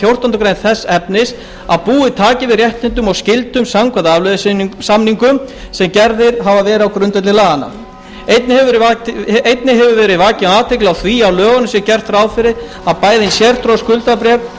fjórtándu greinar þess efnis að búið taki við réttindum og skyldum samkvæmt afleiðusamningum sem gerðir hafa verið á grundvelli laganna einnig hefur verið vakin athygli á því að í lögunum sé gert ráð fyrir að bæði hin sértryggðu skuldabréf og